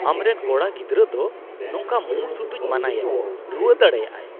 ᱟᱢᱨᱮᱱ ᱠᱚᱲᱟ ᱜᱤᱫᱽᱨᱟᱹ ᱫᱚ ᱱᱚᱝᱠᱟ ᱢᱩᱸ ᱥᱩᱴᱩᱡ ᱢᱟᱱᱟᱭᱮᱢ ᱾ ᱨᱩᱣᱟᱹ ᱫᱟᱲᱮᱭᱟᱜᱼᱟᱭ ᱾